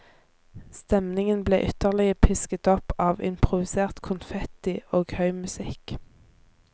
Stemningen ble ytterligere pisket opp av improvisert konfetti og høy musikk.